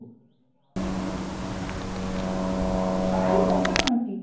পারি মোটামুটি